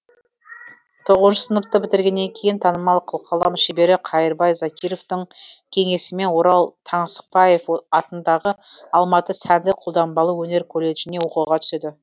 тоғызыншы сыныпты бітіргеннен кейін танымал қылқалам шебері қайырбай закировтың кеңесімен орал таңсықпаев атындағы алматы сәндік қолданбалы өнер колледжіне оқуға түседі